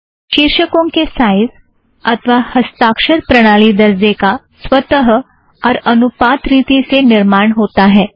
शीर्षकों के साइज़ अथ्वा हस्ताक्षर प्रणाली दरजे का स्वत और अनुपात रिथी से निर्माण होता है